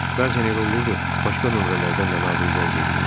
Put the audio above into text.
Bəzən elə olurdu, başqa nömrələrdən də Nadir zəng eləyirdi.